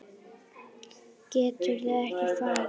Geturðu ekki farið?